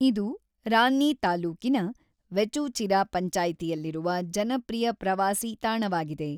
ಇದು ರಾನ್ನಿ ತಾಲ್ಲೂಕಿನ ವೆಚೂಚಿರಾ ಪಂಚಾಯ್ತಿಯಲ್ಲಿರುವ ಜನಪ್ರಿಯ ಪ್ರವಾಸೀ ತಾಣವಾಗಿದೆ.